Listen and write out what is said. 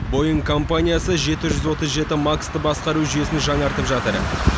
боинг компаниясы жеті жүз отыз жеті макстың басқару жүйесін жаңартып жатыр